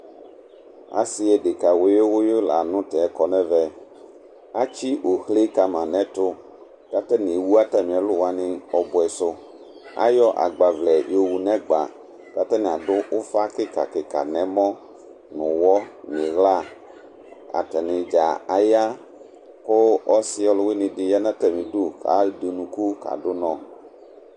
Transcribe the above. ase adeka wiyo wiyo lantɛ kɔ n'ɛvɛ atsi ohle kama n'ɛto k'atani ewu atami ɛlò wani ɔboɛ so ayɔ agbavlɛ yowu n'ɛgba k'atani ado ufa keka keka n'ɛmɔ n'owɔ n'ila atani dza aya ko ɔse ɔlowini di ya n'atami du ko ede unuku ka do unɔ